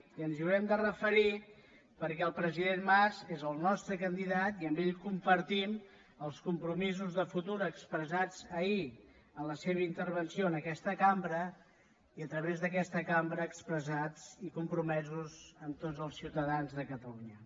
i ens hi haurem de referir perquè el president mas és el nostre candidat i amb ell compartim els compromisos de futur expressats ahir en la seva intervenció en aquesta cambra i a través d’aquesta cambra expressats i compromesos amb tots el ciutadans de catalunya